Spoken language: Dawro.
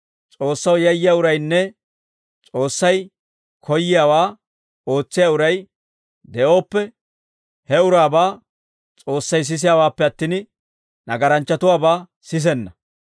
S'oossaw yayyiyaa uraynne S'oossay koyyiyaawaa ootsiyaa uray de'ooppe, he uraabaa S'oossay sisiyaawaappe attin, nagaranchchatuwaabaa sisenna.